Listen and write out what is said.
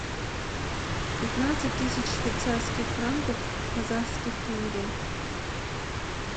пятнадцать тысяч швейцарских франков в казахских тенге